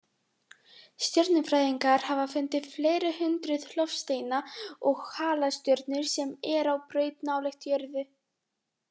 Stjörnufræðingar hafa fundið fleiri hundruð loftsteina og halastjörnur sem eru á braut nálægt jörðu.